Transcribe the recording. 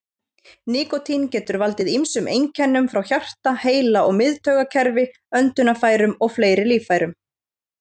Nikótín getur valdið ýmsum einkennum frá hjarta, heila- og miðtaugakerfi, öndunarfærum og fleiri líffærum.